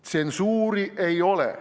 Tsensuuri ei ole.